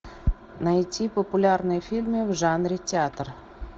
найти популярные фильмы в жанре театр